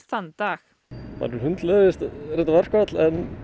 þann dag manni hundleiðist verkföll